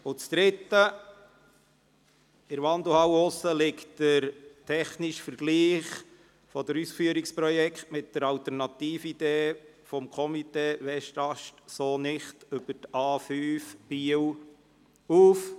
Drittens: Draussen in der Wandelhalle liegt der technische Vergleich der Ausführungsprojekte mit der Alternatividee des Komitees «Westast so nicht!» zur A5 auf.